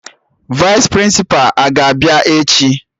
Vaịs Prịnsịpa a ga-abịa echi?